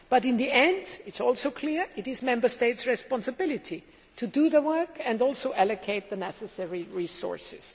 But in the end, it is also clearly the Member States' responsibility to do the work and also allocate the necessary resources.